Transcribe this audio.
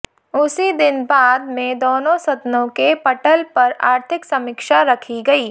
उसी दिन बाद में दोनों सदनों के पटल पर आर्थिक समीक्षा रखी गई